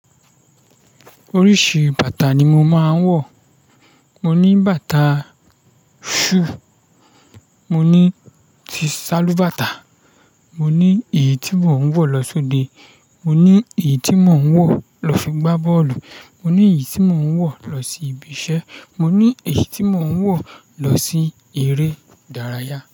Oríṣi bàtà ni mo máa ń wọ̀. Mo ní bàtà shoe, mo ní ti salúbàtà, mo ní èyí tí mò ń wọ̀ lọ sóde, mo ní èyí tí mò ń wọ̀ lọ fi gbá bọ́ọ̀lù, mo ní èyí tí mò ń wọ̀ lọ sí ibi iṣẹ́, mo ní èyí tí mò ń wọ̀ lọ sí eré ìdárayá.